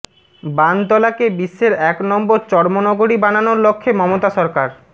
বানতলাকে বিশ্বের এক নম্বর চর্ম নগরী বানানোর লক্ষ্যে মমতা সরকার